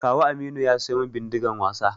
Kawu Aminu ya siyu min Bindigan wasa